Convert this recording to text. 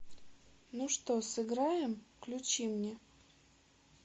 ну что сыграем включи мне